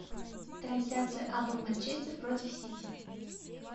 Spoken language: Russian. трансляция апл манчестер против сити